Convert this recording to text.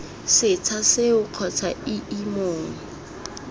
setsha seo kgotsa ii mong